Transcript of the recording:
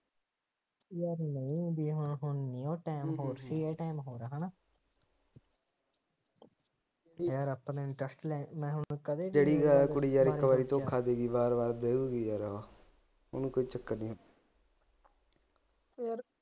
ਜਿਹੜੀ ਯਾਰ ਕੁੜੀ ਯਾਰ ਇੱਕ ਵਾਰੀ ਧੋਖਾ ਦੇਗੀ ਵਾਰ ਵਾਰ ਦੇਓਗੀ ਯਾਰ ਉਹ ਉਹਨੂੰ ਕੋਈ ਚੱਕਰ ਨੀ